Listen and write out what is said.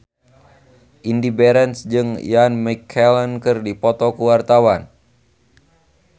Indy Barens jeung Ian McKellen keur dipoto ku wartawan